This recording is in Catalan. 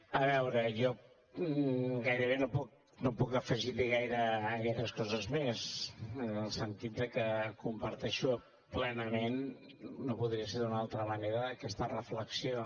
a veure jo gairebé no puc afegir hi gaires coses més en el sentit de que comparteixo plenament no podria ser d’una altra manera aquesta reflexió